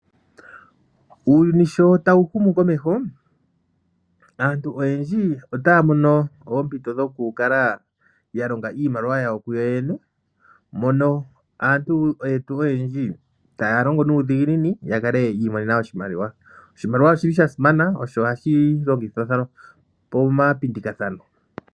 Uuyuni sho tawu humu komeho, aantu oyendji otaya mono oompito dhoku kala ya longa iimaliwa yawo kuyo yene, mono aantu yetu oyendji taya longo nuudhiginini ya kale yiimonena oshimaliwa. Oshimaliwa oshili sha simana, osho hashi longithwa pomapindikathano.